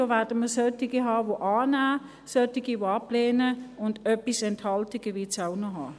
da werden wir Leute haben, die annehmen, solche, die ablehnen, und einige Enthaltungen wird es auch noch geben.